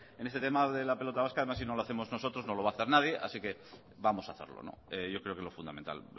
porque en este tema de la pelota vasca además si no lo hacemos nosotros no lo va a hacer nadie así que vamos a hacerlo yo creo que es lo fundamental